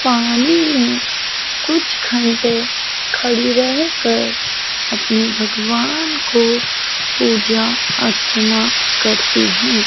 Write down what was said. पानी में कुछ घंटे खड़ी रहकर अपने भगवान को पूजा अर्चना करती हैं।